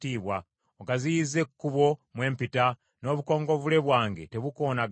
Ogaziyizza ekkubo mwe mpita, n’obukongovvule bwange tebukoonagana.